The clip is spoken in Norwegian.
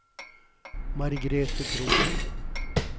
Margrethe Kroken